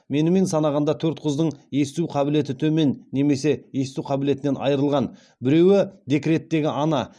менімен санағанда төрт қыздың есту қабілеті төмен немесе есту қабілетінен айырылған біреуі декреттегі ана